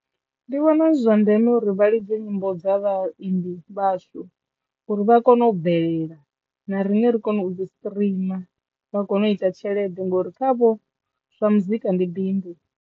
Ndi vhona zwi zwa ndeme uri vha lidze nyimbo dza vhaimbi vhashu uri vha kone u bvelela na riṋe ri kone u dzi streamer vha kone u ita tshelede ngori khavho zwa muzika ndi bindu.